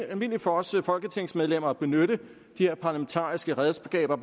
almindeligt for os folketingsmedlemmer at benytte de her parlamentariske redskaber